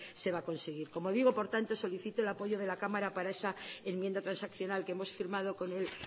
se va a conseguir por tanto solicito el apoyo de la cámara para esa enmienda transaccional que hemos firmado con el